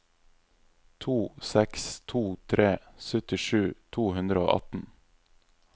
to seks to tre syttisju to hundre og atten